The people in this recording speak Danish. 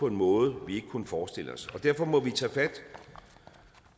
på en måde vi ikke kunne forestille os derfor må vi tage fat